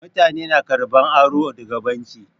Mutane na karɓan aro daga banki.